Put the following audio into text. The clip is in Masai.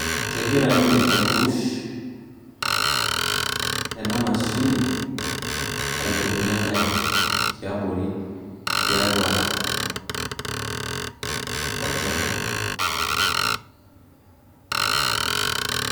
Kegira ninye aipush ena mashini ailepunyie enkare tiabori tiatua olchoro.